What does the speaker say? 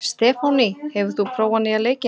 Stefánný, hefur þú prófað nýja leikinn?